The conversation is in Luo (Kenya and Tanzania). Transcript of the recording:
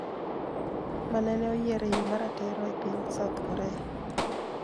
Manene oyier e yo ma ratiro e piny South Korea